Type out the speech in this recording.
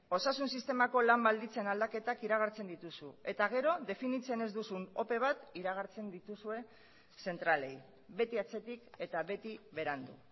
osasun sistemako lan baldintzen aldaketak iragartzen dituzu eta gero definitzen ez duzun ope bat iragartzen dituzue zentralei beti atzetik eta beti berandu